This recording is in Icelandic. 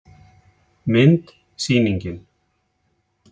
Mynd: Sýningin.